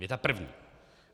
Věta první.